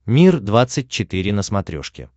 мир двадцать четыре на смотрешке